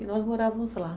E nós morávamos lá.